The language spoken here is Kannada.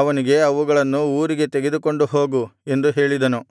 ಅವನಿಗೆ ಅವುಗಳನ್ನು ಊರಿಗೆ ತೆಗೆದುಕೊಂಡು ಹೋಗು ಎಂದು ಹೇಳಿದನು